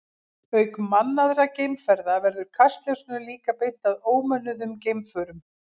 Auk mannaðra geimferða verður kastljósinu líka beint að ómönnuðum geimförum.